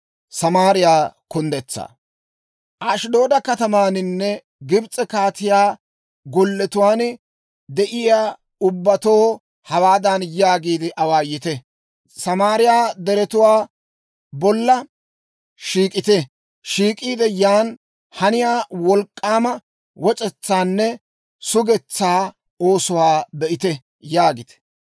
Ashddooda katamaaninne Gibs'e kaatiyaa golletuwaan de'iyaa ubbatoo hawaadan yaagiide awaayite; «Samaariyaa deretuwaa bolla shiik'ite; shiik'iide yan haniyaa wolk'k'aama wac'etsaanne sugetsaa oosuwaa be'ite» yaagite.